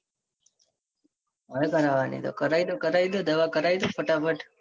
હવે કરવાની તો કરાઈ લ્યો કરાઈ લ્યો દવા કરાઈ લ્યો ફટાફટ.